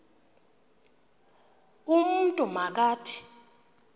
umntu ma kathi